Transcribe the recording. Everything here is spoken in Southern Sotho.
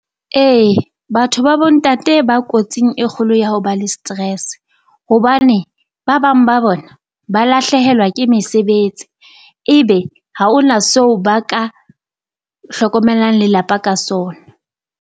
Ee batho ba bo ntate ba kotsing e kgolo ya hao ba le stress, hobane ba bang ba bona ba lahlehelwa ke mesebetsi ebe ha o na so ba ka hlokomelang lelapa ka sona.